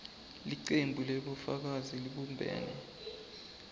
licembu lebafundzi lelibumbene